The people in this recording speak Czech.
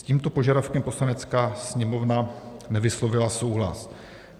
S tímto požadavkem Poslanecká sněmovna nevyslovila souhlas.